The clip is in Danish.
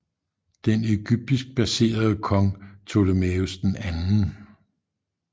Den egyptisk baserede kong Ptolemaios 2